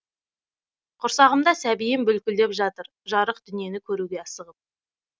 құрсағымда сәбиім бүлкілдеп жатыр жарық дүниені көруге асығып